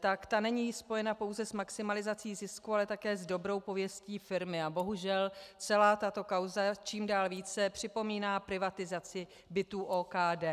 tak ta není spojena pouze s maximalizací zisku, ale také s dobrou pověstí firmy a bohužel celá tato kauza čím dál více připomíná privatizaci bytů OKD.